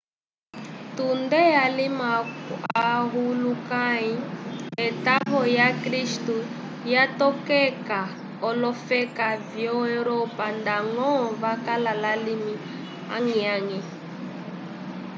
tunde alima ohulukãyi etavo lyakristu lyatokeka olofeka vyo europa ndañgo vakala lalimi añgi-añgi